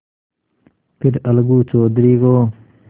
फिर अलगू चौधरी को